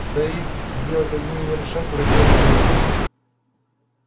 стоит сделать один неверный шаг и враги одолеют нас